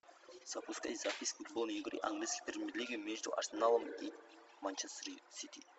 запускай запись футбольной игры английской премьер лиги между арсеналом и манчестер сити